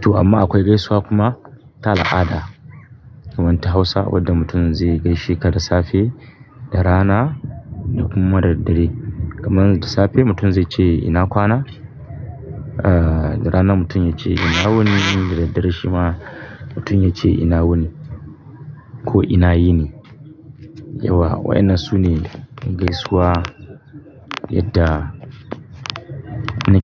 To amma akwai gaisuwa kuma ta al'ada. Wannan ta Hausa wadda mutum zai gaishe ka da safe, da rana da kuma da daddare. Kaman da safe mutum zai ce "ina kwana?" Ah da rana mutum ya ce "ina wuni?" Da daddare shi ma mutum ya ce "ina wuni ko ina yini?" Yawwa. Wa'innan su ne gaisuwa yadda ni.